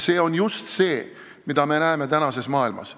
See on just see, mida me näeme tänases maailmas.